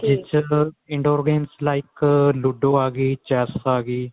ਜਿਸ ਚ indoor game like Ludo ਆ ਗਈ ਵੀ chess ਆ ਗਈ